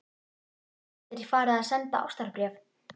Þú gætir farið að senda ástarbréf.